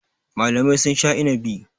Malamai sun sha inabi.